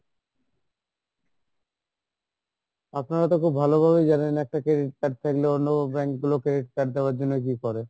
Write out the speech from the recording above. আপনারা তো খুব ভালো ভাবে জানেন একটা credit card থাকলে অন্য bank গুলো credit card দেওয়ার জন্য কি করে,